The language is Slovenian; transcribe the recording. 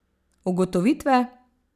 Ugotovitve?